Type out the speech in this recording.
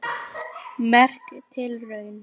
Merk tilraun